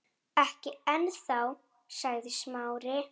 Ekki ennþá- sagði Smári.